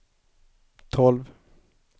tolv